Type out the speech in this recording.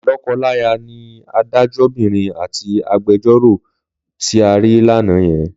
Lọ́kọláya ni adájọ́bìnrin àti agbẹjọ́ròkùnrin tí a rí lánàá yẹn.